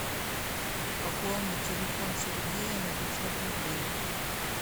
пополнить телефон сергея на пятьсот рублей